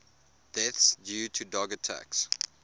deaths due to dog attacks